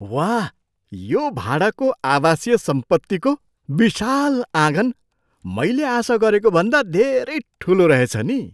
वाह, यो भाडाको आवासीय सम्पत्तीको विशाल आँगन मैले आशा गरेको भन्दा धेरै ठुलो रहेछ नि!